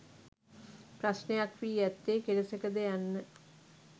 ප්‍රශ්නයක් වී ඇත්තේ කෙලෙසකද යන්න.